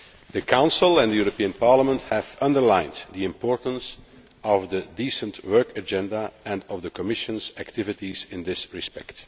The Council and the European Parliament have underlined the importance of the Decent Work Agenda and of the Commission's activities in this respect.